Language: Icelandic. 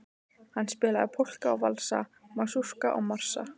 Hann spilaði polka og valsa, masúrka og marsa.